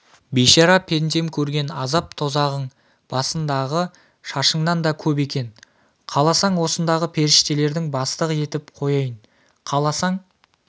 бейшара пендем көрген азап-тозағың басындағы шашыңнан да көп екен қаласаң осындағы періштелердің бастығы етіп қояйын қаласаң